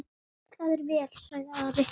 Það er vel, sagði Ari.